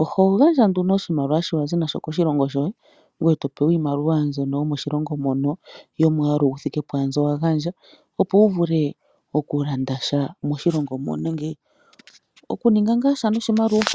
oho gandja nduno oshimaliwa sho wa zi nasho koshilongo shoye, ngoye to pewa iimaliwa mbyono yomoshilongo mono, yomwaalu yi thike pwaambi wa gandja, opo wu vule oku landa sha moshilongo mono nenge oku ninga ngaasha noshimaliwa.